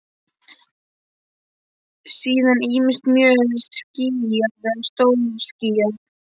Síðan ýmist mjög skýjað eða stórskýjað.